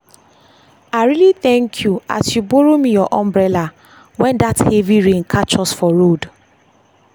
i really thank you as you borrow me your umbrella when that heavy rain catch us for road